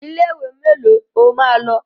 Ilé ìwé mélòó o máa lọ?